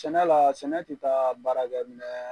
Sɛnɛ laa sɛnɛ te taa baarakɛminɛɛ